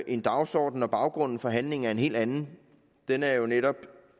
en dagsorden når baggrunden for handlingen er en helt anden den er jo netop